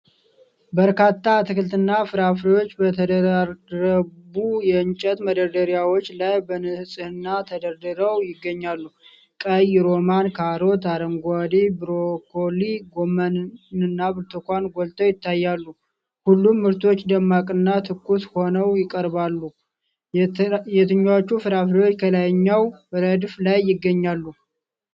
በርካታ አትክልትና ፍራፍሬዎች በተደራረቡ የእንጨት መደርደሪያዎች ላይ በንጽሕና ተደርድረው ይገኛሉ። ቀይ ሮማን፣ ካሮት፣ አረንጓዴ ብሮኮሊ፣ ጎመንና ብርቱካን ጎልተው ይታያሉ። ሁሉም ምርቶች ደማቅና ትኩስ ሆነው ይቀርባሉ። የትኞቹ ፍራፍሬዎች ከላይኛው ረድፍ ላይ ይገኛሉ?